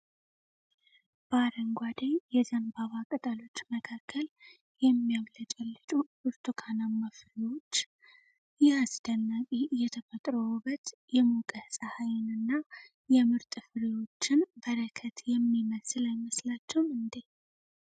በአረንጓዴ የዘንባባ ቅጠሎች መካከል የሚያብለጨልጩ ብርቱካናማ ፍሬዎች! ይህ አስደናቂ የተፈጥሮ ውበት የሞቀ ፀሐይንና የምርጥ ፍሬዎችን በረከት የሚመስል አይመሳችሁም እንዴ ።